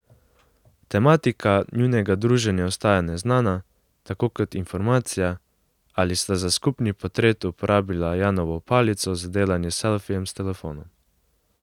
Tematika njunega druženja ostaja neznana, tako kot informacija, ali sta za skupni portret uporabila Janovo palico za delanje selfijev s telefonom.